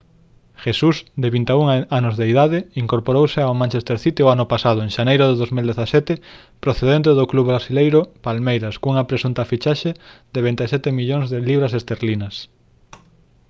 jesús de 21 anos de idade incorporouse ao manchester city o ano pasado en xaneiro do 2017 procedente do club brasileiro palmeiras cunha presunta fichaxe de 27 millóns de libras esterlinas